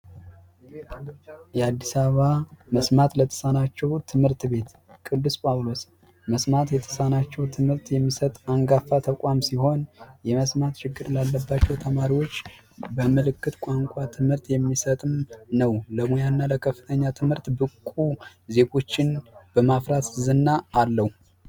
የአዲስ አበባ መስማት ለተሳናቸው ትምህርት ቤት ቅዱስ ጳውሎስ መስማት ለተሳናቸው ትምህርት የሚሰጥ አንጋፋ ተቋም ሲሆን የመስማት ችግር ላለባቸው ተማሪዎች በምልክት ቋንቋ ትምህርት የሚሰጥ ነው። ለሙያና ለከፍተኛ ትምህርት ብቁ ዜጎችን በማፍራት ዝና አለው።